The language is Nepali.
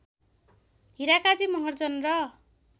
हिराकाजी महर्जन र